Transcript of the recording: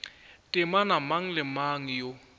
temana mang le mang yo